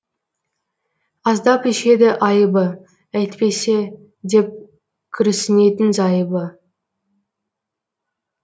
аздап ішеді айыбы әйтпесе деп күрсінетін зайыбы